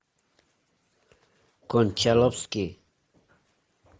кончаловский